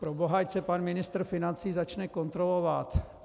Proboha, ať se pan ministr financí začne kontrolovat.